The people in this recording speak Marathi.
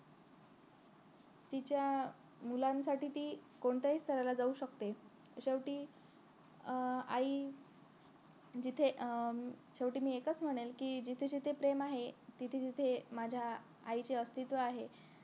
तिच्या मुलांसाठी ती कोणत्याही थराला जाऊ शकते शेवटी अं आई जिथे अं शेवटी मी एकच म्हणेन कि जिथे जिथे प्रेम आहे तिथे तिथे माझ्या आईचे अस्थित्व आहे